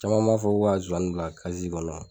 Caman b'a fɔ ko ka Nzozani bila kɔnɔ.